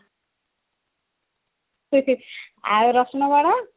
ଆଉ ରସୁଣ ବାଣ